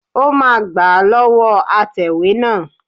Ó máa gbà á lọ́wọ́ atẹ̀wé náà